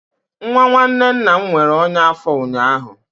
Nwa nwanne nna m nwere ọnya afo ụnyaahụ